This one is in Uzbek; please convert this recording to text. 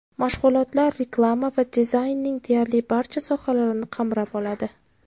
Mashg‘ulotlar reklama va dizaynning deyarli barcha sohalarini qamrab oladi.